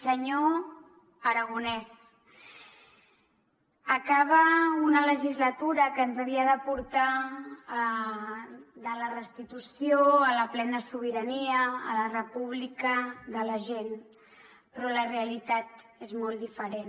senyor aragonès acaba una legislatura que ens havia de portar de la restitució a la plena sobirania a la república de la gent però la realitat és molt diferent